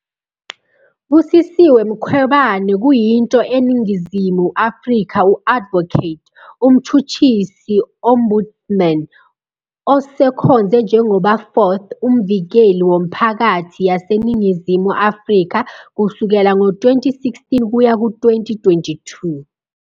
Busisiwe Mkhwebane kuyinto eNingizimu Afrika u-Advocate, umtjhutjhisi ombudsman, osekhonze njengoba 4th uMvikeli woMphakathi yaseNingizimu Afrika kusukela ngo-2016 kuya ku-2022.